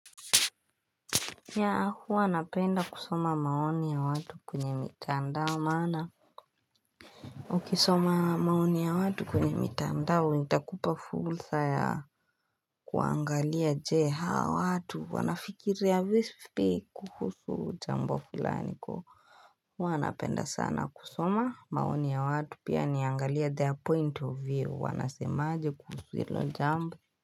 Huwa napenda kusoma maoni ya watu kwenye mitandao maana Ukisoma maoni ya watu kwenye mitandao itakupa fursa ya kuangalia je hawa watu wanafikiria vipi kuhusu jambo fulani kwa huu alnapenda sana kusoma maoni ya watu pia niangalia their point of view wanasemaje kuhusu hilo jambo.